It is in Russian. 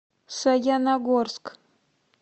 саяногорск